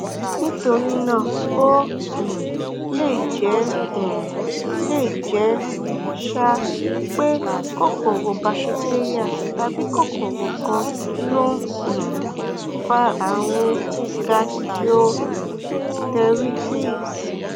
nítorí náà ó um lè jẹ um lè jẹ um pé kòkòrò bakitéríà tàbí kòkòrò kan ló um fa ààrùn gastroenteritis